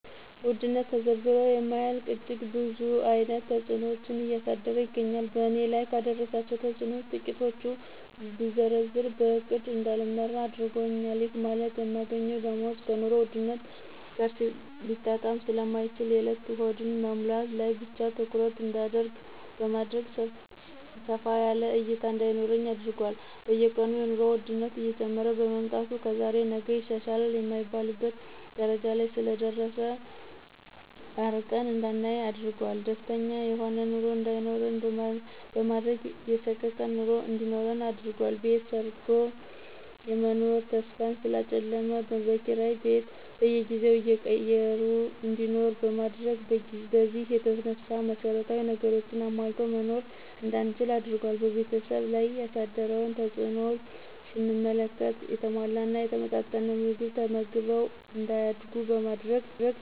ውድነት ተዘርዝሮ የማያልቅ እጅግ ብዙ አይነት ተጽኖዎችን እያደረሰ ይገኛል በእኔ ላይ ካደረሳቸው ተጽኖዎች ትቂቱን ብዘረዝር በእቅድ እዳልመራ አድርጎኛል ይህ ማለት የማገኘው ደሞዝ ከኑሮ ውድነት ጋር ሊጣጣም ስለማይችል የእለት ሆድን መሙላት ላይ ብቻ ትኩረት እዳደርግ በማድረግ ሰፋ ያለ እይታ እዳይኖረኝ አድርጓል። በየቀኑ የኑሮ ወድነት እየጨመረ በመምጣቱ ከዛሬ ነገ ይሻላል የማይባልበት ደረጃ ላይ ስለደረሰ አርቀን እዳናይ አድርጓል። ደስተኛ የሆነ ኑሮ እዳይኖረን በማድረግ የሰቀቀን ኑሮ እንዲኖረን አድርጓል። ቤት ሰርቶ የመኖር ተስፋን ስላጨለመ በኪራይ ቤት በየጊዜው እየቀየሩ እንዲኖር በማድረግ በዚህ የተነሳ መሰረታዊ ነገሮችን አሟልቶ መኖር እዳንችል አድርጓል። በቤተሰብ ላይ ያሳደረውን ተጽእኖም ስንመለከት የተሟላና የተመጣጠነ ምግብ ተመግበው እዳያድጉ በማድረግ